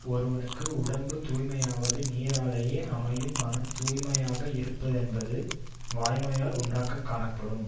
ஒருவனுக்கு உடம்பு தூய்மையாவது நீராலேயே அமையும் மனம் தூய்மையாக இருப்பதென்பது வாய்மையால் உண்டாகிக் காணப்படும்